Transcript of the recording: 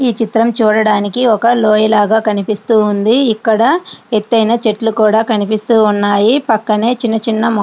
ఈ చిత్రం చూడడానికి ఒక లోయ లాగా కనిపిస్తూ ఉంది .ఇక్కడ ఎత్తైన చెట్లు కూడా కనిపిస్తూ ఉన్నాయి.